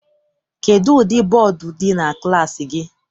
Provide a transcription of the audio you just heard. Kedụ ụdị bọdu dị na klassi gị?